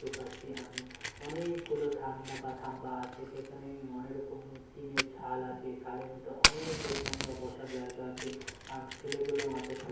দেখতে পাচ্ছি আমি অনেএএকগুলো থাম্বা বা থাম্বা আছে সেখানে অনেক রকম টিনের ছাল আছে ছালের ভিতর অনেক লোকসংখ্যা বসা জায়গা আছে আর ছেলেগুলো মাঠে খেলা--